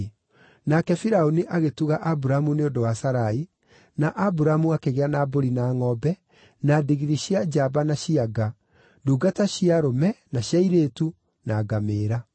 Nake Firaũni agĩtuga Aburamu nĩ ũndũ wa Sarai, na Aburamu akĩgĩa na mbũri na ngʼombe, na ndigiri cia njamba na cia nga, ndungata cia arũme na cia airĩtu, na ngamĩĩra.